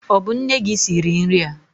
Ọ bụ nne gị siri nri a?